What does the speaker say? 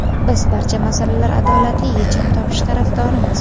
biz barcha masalalar adolatli yechim topishi tarafdorimiz.